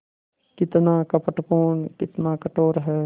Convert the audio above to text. कितना कपटपूर्ण कितना कठोर है